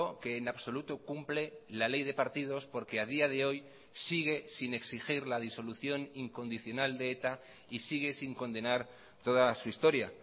que en absoluto cumple la ley de partidos porque a día de hoy sigue sin exigir la disolución incondicional de eta y sigue sin condenar toda su historia